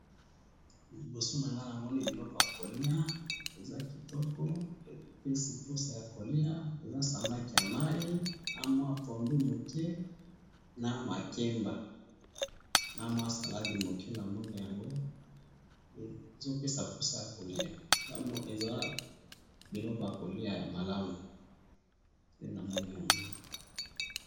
Liboso na nga namoni biloko ya ko lia eza kitoko epesi posa ya ko lia, eza samaki ya mai, na mwa pondu muke na makemba , na mwa salade moke namoni yango ezo pesa posa ya ko lia eza biloko ya ko lia ya malamu nde namoni yango